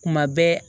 Kuma bɛɛ